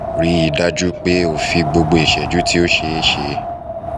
rii daju pe o fi gbogbo iṣẹju ti o ṣeeṣe